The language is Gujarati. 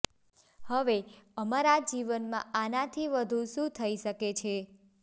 હવે અમારા જીવનમાં આનાથી વધુ શું થઈ શકે છે